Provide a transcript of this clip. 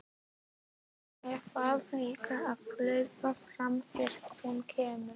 Ég þarf líka að hlaupa frá þér þegar hún kemur.